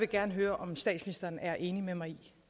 gerne høre om statsministeren er enig med mig i